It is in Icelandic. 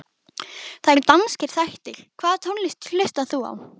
Það eru danskir þættir Hvaða tónlist hlustar þú á?